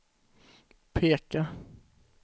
peka